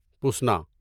پسنا